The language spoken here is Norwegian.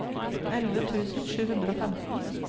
elleve tusen sju hundre og femten